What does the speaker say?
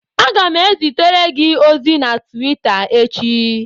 Aga m ezitere gị ozi na Twita echi